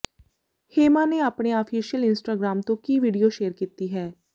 ਹੇਮਾ ਨੇ ਆਪਣੇ official Instagram ਤੋਂ ਕਿ ਵੀਡੀਓ ਸ਼ੇਅਰ ਕੀਤੀ ਹੈ